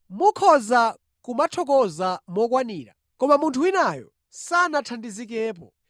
Mukhoza kumathokoza mokwanira, koma munthu winayo sanathandizikepo.